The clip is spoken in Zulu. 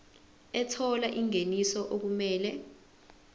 ethola ingeniso okumele